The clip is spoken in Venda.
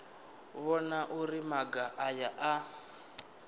vhona uri maga aya a